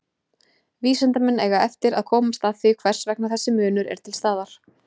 Vísindamenn eiga eftir að komast að því hvers vegna þessi munur er til staðar.